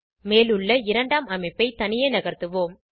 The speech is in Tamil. மேலுள்ள இரண்டாம் அமைப்பை தனியே நகர்த்துவோம்